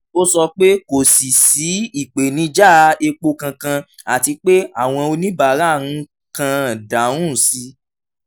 ó sọ pé kò sí sí ìpèníjà epo kankan àti pé àwọn oníbàárà ń kàn dáhùn sí